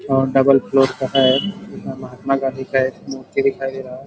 और double floor का है महात्मा गादी का एक मूर्ति दिखाई दे रहा है।